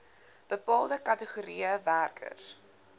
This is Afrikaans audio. bepaalde kategorieë werkers